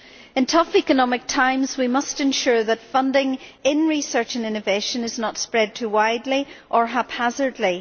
In tough economic times we must ensure that funding in research and innovation is not spread too widely or haphazardly.